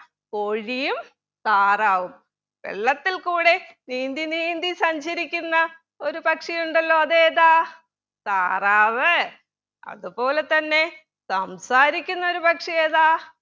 കോഴിയും താറാവും വെള്ളത്തിൽ കൂടെ നീന്തി നീന്തി സഞ്ചരിക്കുന്ന ഒരു പക്ഷിയുണ്ടല്ലോ അത് ഏതാ താറാവ് അത് പോലെ തന്നെ സംസാരിക്കുന്ന ഒരു പക്ഷി ഏതാ